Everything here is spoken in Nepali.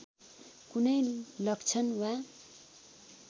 कुनै लक्षण वा